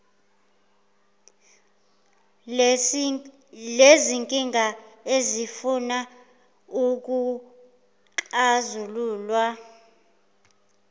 lezinkinga ezifuna ukuxazululwa